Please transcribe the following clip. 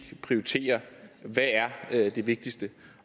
prioritere hvad er det vigtigste